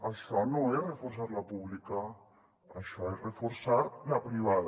això no és reforçar la pública això és reforçar la privada